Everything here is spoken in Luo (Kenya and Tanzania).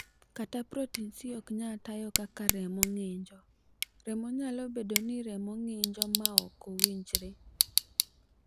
Ka protin C ok nyal tayo kaka remo ng'injo, remo nyalo bedo ni remo ng'injo ma ok owinjore.